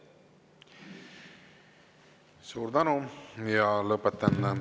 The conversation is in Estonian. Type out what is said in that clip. Suur tänu!